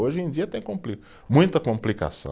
Hoje em dia tem compli, muita complicação.